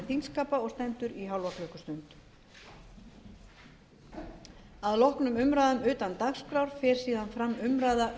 þingskapa og stendur í hálfa klukkustund að loknum umræðum utan dagskrár fer síðan fram umræða